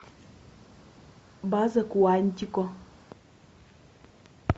база куантико